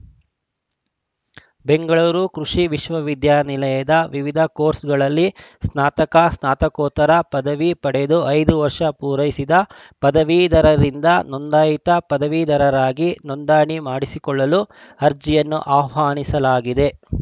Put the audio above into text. ಬೆಂಗಳೂರು ಕೃಷಿ ವಿಶ್ವವಿದ್ಯಾನಿಲಯ ವಿವಿಧ ಕೋರ್ಸ್‌ಗಳಲ್ಲಿ ಸ್ನಾತಕ ಸ್ನಾತಕೋತ್ತರ ಪದವಿ ಪಡೆದು ಐದು ವರ್ಷ ಪೂರೈಸಿದ ಪದವೀಧರರಿಂದ ನೋಂದಾಯಿತ ಪದವೀಧರರಾಗಿ ನೋಂದಣಿ ಮಾಡಿಸಿಕೊಳ್ಳಲು ಅರ್ಜಿಯನ್ನು ಆಹ್ವಾನಿಸಲಾಗಿದೆ